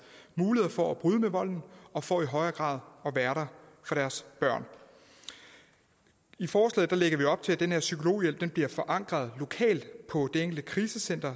muligheder for at bryde med volden og for i højere grad at være der for deres børn i forslaget lægger vi op til at den her psykologhjælp bliver forankret lokalt på det enkelte krisecenter